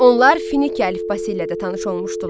Onlar Fenike əlifbası ilə də tanış olmuşdular.